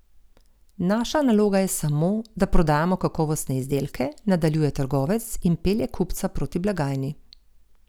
Naša naloga je samo, da prodajamo kakovostne izdelke, nadaljuje trgovec in pelje kupca proti blagajni.